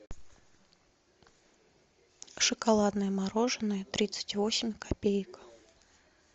шоколадное мороженое тридцать восемь копеек